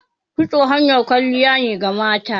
Kitso hanyar kwalliya ne ga mata